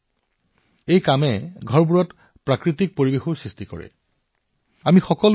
এই ঘৰবোৰত এক আশ্চৰ্যকৰ প্ৰাকৃতিক পৰিৱেশৰ সৃষ্টি কৰা হৈছে